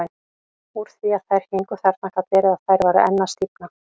Úr því að þær héngu þarna gat verið að þær væru enn að stífna.